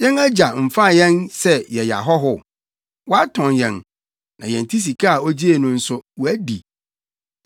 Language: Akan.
Yɛn agya mfa yɛn sɛ yɛyɛ ahɔho? Watɔn yɛn, na yɛn ti sika a ogyee no nso, wadi.